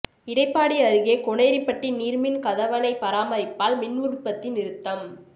இடைப்பாடி அருகே கோனேரிப்பட்டி நீர்மின் கதவணை பராமரிப்பால் மின் உற்பத்தி நிறுத்தம்